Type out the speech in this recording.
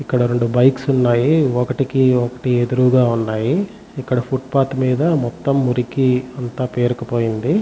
ఇక్కడ రెండు బైక్స్ ఉన్నాయి.ఒక్కటికి ఒక్కటి ఎదురుగ ఉన్నాయి. ఇక్కడ ఫుట్ పాత్ మీద మొత్తం మురికి అంతా పేరుకుపోయి ఉంది.